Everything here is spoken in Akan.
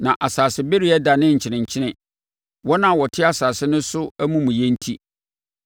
na asasebereɛ danee nkyenenkyene, wɔn a wɔte asase no so amumuyɛ enti.